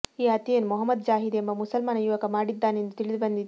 ಈ ಹತ್ಯೆಯನ್ನು ಮೊಹಮ್ಮದ್ ಜಾಹಿದ್ ಎಂಬ ಮುಸಲ್ಮಾನ ಯುವಕ ಮಾಡಿದ್ದಾನೆಂದು ತಿಳಿದುಬಂದಿದೆ